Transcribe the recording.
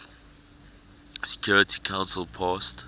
security council passed